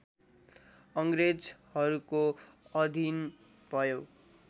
अङ्ग्रेजहरूको अधीन भयो